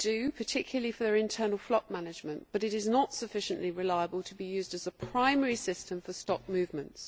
They do particularly for internal flock management but it is not sufficiently reliable to be used as a primary system for stock movements.